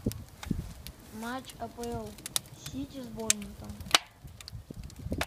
матч апл сити с борнмутом